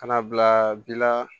Ka na bila bi la